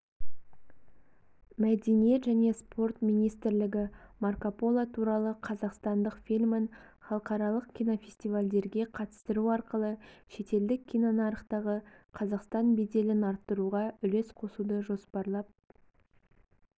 мәдениет және спорт министрлігі марко поло туралы қазақстандық фильмін халықаралық кинофестивальдерге қатыстыру арқылы шетелдік кинонарықтағы қазақстан беделін арттыруға үлес қосуды жоспарлап